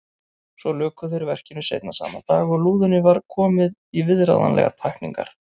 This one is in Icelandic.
Svo luku þeir verkinu seinna sama dag og lúðunni var komið í viðráðanlegar pakkningar.